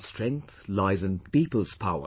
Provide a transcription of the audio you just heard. Our strength lies in the people's power